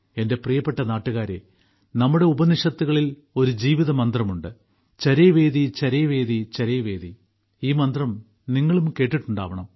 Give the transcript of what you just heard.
എന്റെ പ്രിയപ്പെട്ട നാട്ടുകാരേ നമ്മുടെ ഉപനിഷത്തുകളിൽ ഒരു ജീവിതമന്ത്രമുണ്ട് ചരൈവേതിചരൈവേതിചരൈവേതി ഈ മന്ത്രം നിങ്ങളും കേട്ടിട്ടുണ്ടാകണം